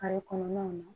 Kare kɔnɔnaw na